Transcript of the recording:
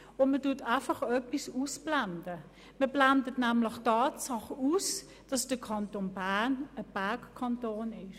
Man blendet einfach etwas aus, nämlich die Tatsache, dass der Kanton Bern ein Bergkanton ist.